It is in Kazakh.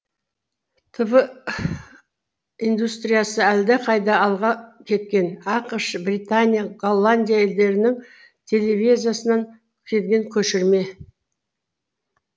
тв индустриясы әлдеқайда алға кеткен ақш британия голландия елдерінің телевизиясынан келген көшірме